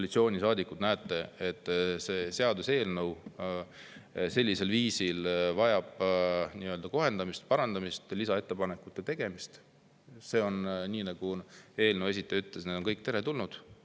Kui te tõesti näete, et see seaduseelnõu vajab kohendamist, parandamist, lisaettepanekute tegemist, siis nagu eelnõu esitaja ütles, need on kõik teretulnud.